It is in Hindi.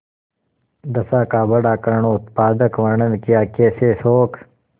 दशा का बड़ा करूणोत्पादक वर्णन कियाकैसे शोक